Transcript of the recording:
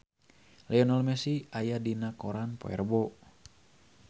Lionel Messi aya dina koran poe Rebo